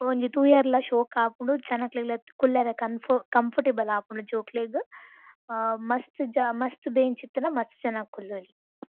ಒಂಜಿ ತೂಯೆರ್ಲ ಶೋಕ್ ಆಪುಂಡು ಜನಕ್ಲೆಗ್ಲಾ ಕುಲ್ಲೆರೆ ಕಂಫರ್ಟ್ ಕಂಫರ್ಟೇಬಲ್ ಆಪುಂಡು ಜೋಕ್ಲೆಗ್ ಆ ಮಸ್ತ್ ಜ ಮಸ್ತ್ ಬೆಂಚ್ ಇತ್ತ್ಂಡ ಮಸ್ತ್ ಜನಕ್ ಕುಲ್ಲೊಲಿ.